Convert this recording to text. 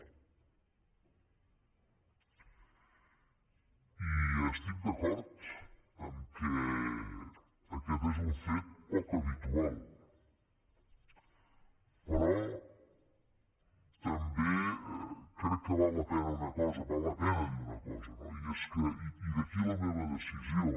i estic d’acord que aquest és un fet poc habitual però també crec que val la pena una cosa val la pena dir una cosa no i d’aquí la meva decisió